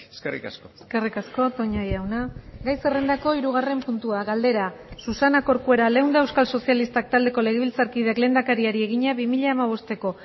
eskerrik asko eskerrik asko toña jauna gai zerrendako hirugarren puntua galdera susana corcuera leunda euskal sozialistak taldeko legebiltzarkideak lehendakariari egina bi mila hamabosteko